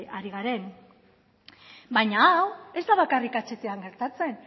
ari garen baina hau ez da bakarrik ahtan gertatzen